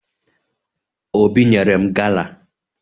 Obi nyere m gala